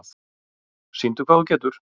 Sýndu hvað þú getur!